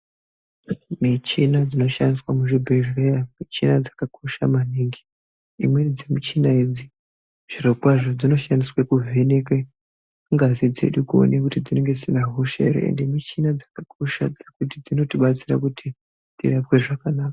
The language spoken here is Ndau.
Michina dzinoshandiswa muzvibhehlera ,michina dzakakosha maningi. Imweni dzimichina idzi zvirokwazvo, dzinoshandiswe kuvheneke ngazi dzedu kuwona kuti dzinenge dzisina hosha here . Ende michini dzakakosha kuti inotibatsira kuti tirapwe zvakanaka.